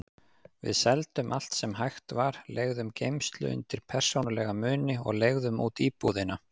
Við seldum allt sem hægt var, leigðum geymslu undir persónulega muni og leigðum út íbúðina.